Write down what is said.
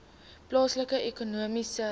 plaaslike ekonomiese